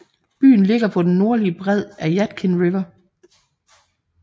Byen ligger på den nordlige bred af Yadkin River